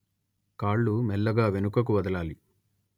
కాళ్ళు మెల్లగా వెనుకకు వదలాలి